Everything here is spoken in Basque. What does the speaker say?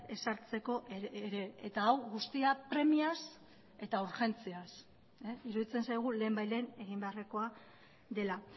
ezartzeko ere eta hau guztia premiaz eta urgentziaz iruditzen zaigu lehenbailehen egin beharrekoa dela